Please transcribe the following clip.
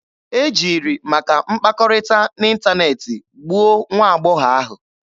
E jiri maka mkpakọrịta n'ịntaneetị gbuo nwa agbọghọ ahụ.